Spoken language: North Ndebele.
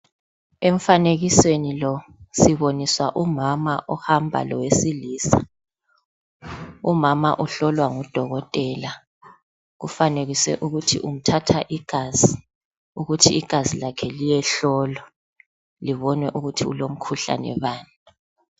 Emfanekisweni mo sibona umama ohamba lowesilisa umama uhlolwa ngudokotela kufanekiswe ukuthi umthatha igazi ukuthi igazi lakhe liyehlolwa libonwe ukuthi lilomkhuhlane bani